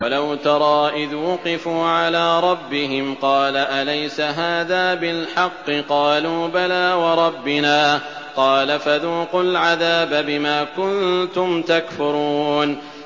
وَلَوْ تَرَىٰ إِذْ وُقِفُوا عَلَىٰ رَبِّهِمْ ۚ قَالَ أَلَيْسَ هَٰذَا بِالْحَقِّ ۚ قَالُوا بَلَىٰ وَرَبِّنَا ۚ قَالَ فَذُوقُوا الْعَذَابَ بِمَا كُنتُمْ تَكْفُرُونَ